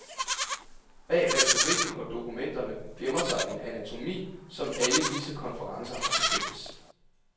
Bag retorikken og dokumenterne gemmer sig en anatomi, som alle disse konferencer har til fælles.